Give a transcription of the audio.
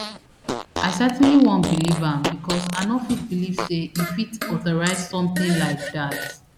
i certainly wan believe am because i no fit believe say e fit authorise something [like] dat